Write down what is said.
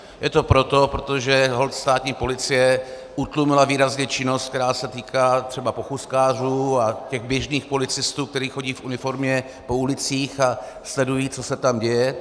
Je to proto, protože holt státní policie utlumila výrazně činnost, která se týká třeba pochůzkářů a těch běžných policistů, kteří chodí v uniformě po ulicích a sledují, co se tam děje.